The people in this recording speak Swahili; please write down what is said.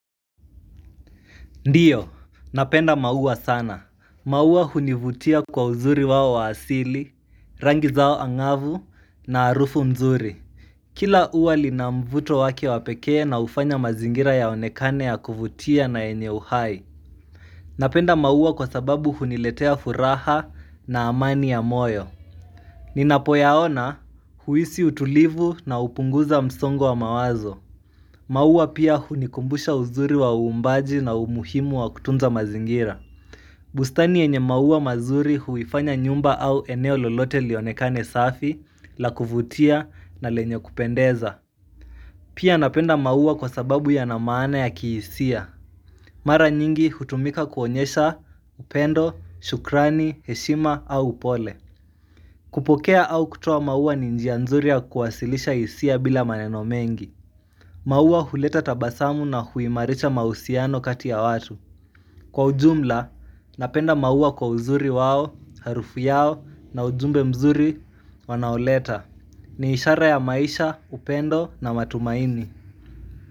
Ndiyo, napenda maua sana. Maua hunivutia kwa uzuri wao wa asili, rangi zao angavu na arufu mzuri. Kila ua lina mvuto wake wa pekee na hufanya mazingira yaonekane ya kuvutia na yenye uhai. Napenda mauwa kwa sababu huniletea furaha na amani ya moyo. Ninapo yaona huisi utulivu na hupunguza msongo wa mawazo. Maua pia hunikumbusha uzuri wa uumbaji na umuhimu wa kutunza mazingira. Bustani yenye maua mazuri huifanya nyumba au eneo lolote lionekane safi, la kuvutia na lenye kupendeza. Pia napenda maua kwa sababu yana maana ya kihisia. Mara nyingi hutumika kuonyesha upendo, shukrani, heshima au upole. Kupokea au kutoa maua ni njia nzuri ya kuwasilisha hisia bila maneno mengi. Maua huleta tabasamu na huimarisha mausiano kati ya watu. Kwa ujumla, napenda maua kwa uzuri wao, harufu yao na ujumbe mzuri wanaoleta ni ishara ya maisha, upendo na matumaini.